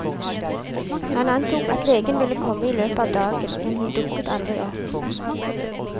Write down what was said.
Han antok at legen ville komme i løpet av dagen, men hun dukket aldri opp.